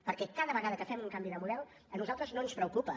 perquè cada vegada que fem un canvi de model a nosaltres no ens preocupa